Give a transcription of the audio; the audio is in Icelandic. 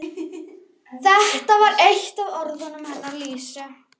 Lúsinda, opnaðu dagatalið mitt.